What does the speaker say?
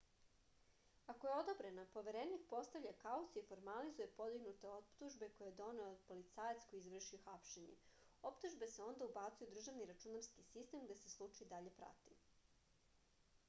ako je odobrena poverenik postavlja kauciju i formalizuje podignute optužbe koje je podneo policajac koji je izvršio hapšenje optužbe se onda ubacuju u državni računarski sitem gde se slučaj dalje prati